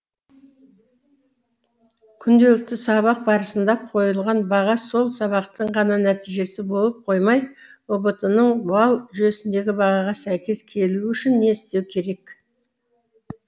күнделікті сабақ барысында қойылған баға сол сабақтың ғана нәтижесі болып қоймай ұбт ның балл жүйесіндегі бағаға сәйкес келуі үшін не істеу керек